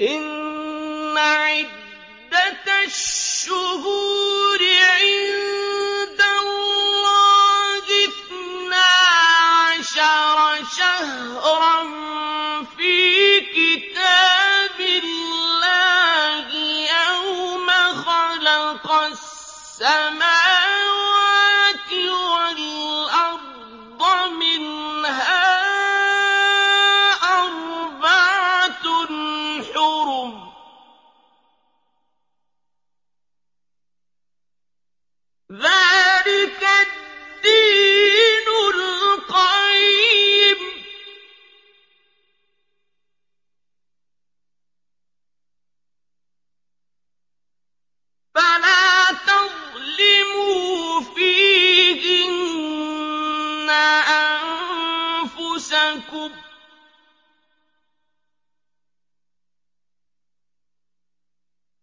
إِنَّ عِدَّةَ الشُّهُورِ عِندَ اللَّهِ اثْنَا عَشَرَ شَهْرًا فِي كِتَابِ اللَّهِ يَوْمَ خَلَقَ السَّمَاوَاتِ وَالْأَرْضَ مِنْهَا أَرْبَعَةٌ حُرُمٌ ۚ ذَٰلِكَ الدِّينُ الْقَيِّمُ ۚ فَلَا تَظْلِمُوا فِيهِنَّ أَنفُسَكُمْ ۚ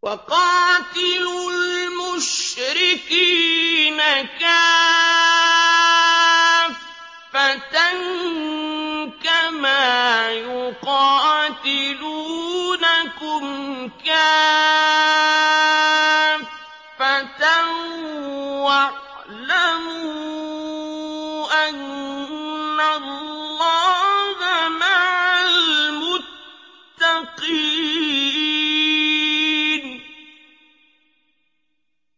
وَقَاتِلُوا الْمُشْرِكِينَ كَافَّةً كَمَا يُقَاتِلُونَكُمْ كَافَّةً ۚ وَاعْلَمُوا أَنَّ اللَّهَ مَعَ الْمُتَّقِينَ